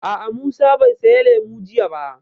A'a, Musa bai saya lemu jiya ba